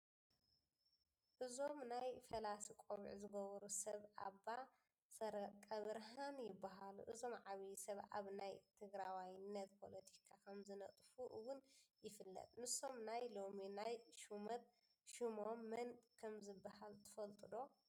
እዞም ናይ ፈላሲ ቆቢዕ ዝገበሩ ሰብ ኣባ ሰረቐብርሃን ይበሃሉ፡፡ እዞም ዓብዪ ሰብ ኣብ ናይ ትግራዋይነት ፖለቲካ ከምዝነጥፉ እውን ይፍለጥ፡፡ ንሶም ናይ ሎሚ ናይ ሽመት ሽሞም መን ከምዝበሃል ትፈልጡ ዶ?